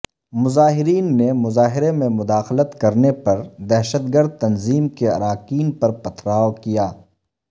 مظاہرین نے مظاہرے میں مداخلت کرنے پر دہشت گرد تنظیم کے اراکین پر پتھراو کیا